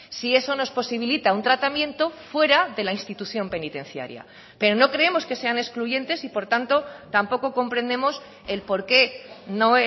si eso nos posibilita un tratamiento fuera de la institución penitenciaria pero no creemos que sean excluyentes y por tanto tampoco comprendemos el por qué no